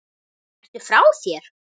Ertu frá þér?